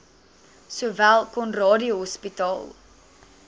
sowel conradie hospitaal